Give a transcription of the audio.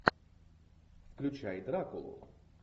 включай дракулу